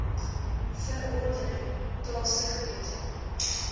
verordeninge plaaslike wette